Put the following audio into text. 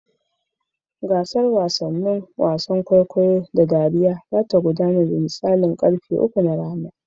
Gasar wasannin wasan kwaikwayo da dariya za ta gudana da misalin karfe uku na rana.